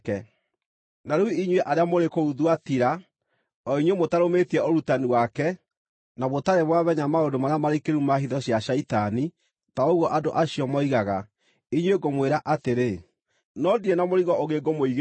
Na rĩu inyuĩ arĩa mũrĩ kũu Thuatira, o inyuĩ mũtarũmĩtie ũrutani wake, na mũtarĩ mwamenya maũndũ marĩa marikĩru ma hitho cia Shaitani, ta ũguo andũ acio moigaga, inyuĩ ngũmwĩra atĩrĩ (no ndirĩ na mũrigo ũngĩ ngũmũigĩrĩra):